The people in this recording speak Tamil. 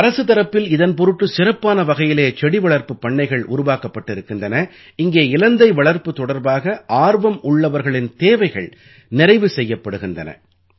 அரசுத் தரப்பில் இதன் பொருட்டு சிறப்பான வகையிலே செடிவளர்ப்புப் பண்ணைகள் உருவாக்கப்பட்டிருக்கின்றன இங்கே இலந்தை வளர்ப்பு தொடர்பாக ஆர்வம் உள்ளவர்களின் தேவைகள் நிறைவு செய்யப்படுகின்றன